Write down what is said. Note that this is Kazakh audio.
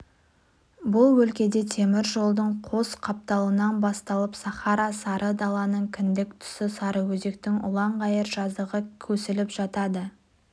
бұл өлкеде темір жолдың қос қапталынан басталып сахара сары даланың кіндік тұсы сарыөзектің ұлан-ғайыр жазығы көсіліп жатады